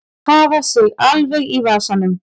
Hafa sig alveg í vasanum.